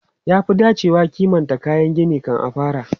Ya fi dacewa a kimanta kayan gini kan a fara.